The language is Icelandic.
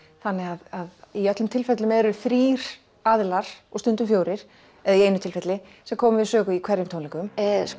þannig að í öllum tilfellum eru þrír aðilar og stundum fjórir eða í einu tilfelli sem koma við sögu á hverjum tónleikum